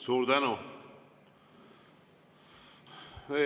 Suur tänu!